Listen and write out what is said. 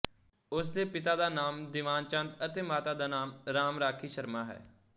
ਉਸਦੇ ਪਿਤਾ ਦਾ ਨਾਂਮ ਦਿਵਾਨ ਚੰਦ ਅਤੇ ਮਾਤਾ ਦਾ ਨਾਂਮ ਰਾਮ ਰਾਖੀ ਸ਼ਰਮਾ ਹੈ